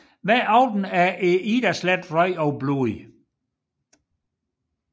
Hver aften er Idasletten rød af blod